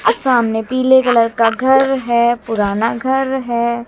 और सामने पीले कलर का घर है पुराना घर है।